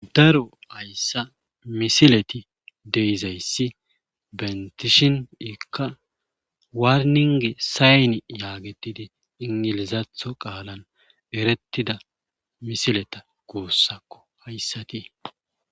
Daro hayssa misileti deizayssi bentishin ikka warninge sayni yaagetidi ingilizatho qaalan erettida misileta kuussakko hayssatii.